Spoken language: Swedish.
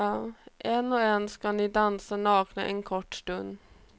En och en ska ni dansa nakna en kort stund.